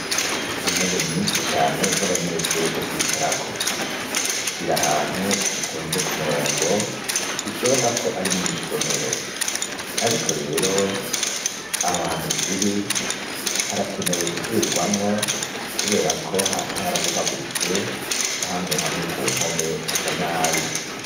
Intebe nyishi cane z'abanyeshure zo kwicarako ziri ahantu zitonze ku murongo bishoboka ko ari mw'isomero ariko rero ahohantu ziri harakenewe gusubirwamwo kubera ko hasi harabomaguritse na hamwe hamwe ku mpome hasa nabi.